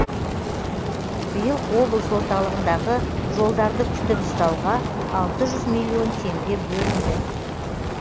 биыл облыс орталығындағы жолдарды күтіп ұстауға алтыжүз миллион теңге бөлінді